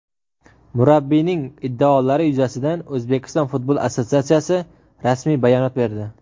Murabbiyning iddaolari yuzasidan O‘zbekiston futbol assotsiatsiyasi rasmiy bayonot berdi.